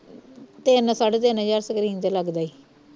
ਤਿੰਨ ਸਾਢੇ ਤਿੰਨ ਹਜਾਰ screen ਤੇ ਲੱਗਦਾ ਈ